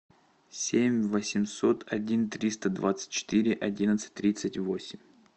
семь восемьсот один триста двадцать четыре одиннадцать тридцать восемь